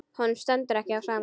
Honum stendur ekki á sama.